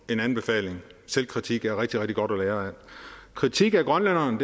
en anbefaling selvkritik er rigtig rigtig godt at lære af kritik af grønlænderne